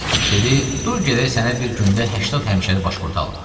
Dedi: dur gedək sənə bir gündə 80 həmişəlik başpurt alım.